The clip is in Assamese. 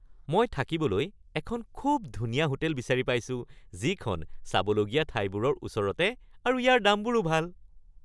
মই থাকিবলৈ এখন খুব ধুনীয়া হোটেল বিচাৰি পাইছোঁ যিখন চাবলগীয়া ঠাইবোৰৰ ওচৰতে আৰু ইয়াৰ দামবোৰো ভাল।